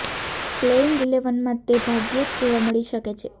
playing ઇલેવનમાં તે ભાગ્યે જ જોવા મળી શકે છે